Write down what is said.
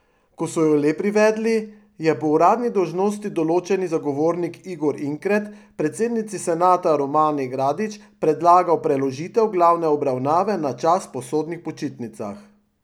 Ko so jo le privedli, je po uradni dolžnosti določeni zagovornik Igor Inkret predsednici senata Romani Gradič predlagal preložitev glavne obravnave na čas po sodnih počitnicah.